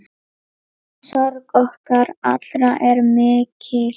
Sorg okkar allra er mikil.